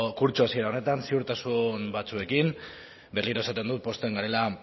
kurtso hasiera honetan ziurtasun batzuekin berriro esaten dut pozten garela